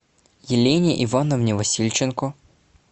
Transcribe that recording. елене ивановне васильченко